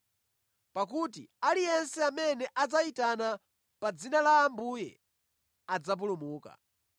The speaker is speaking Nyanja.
pakuti, “Aliyense amene adzayitana pa dzina la Ambuye adzapulumuka.”